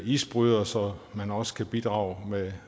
isbryder så man også kan bidrage med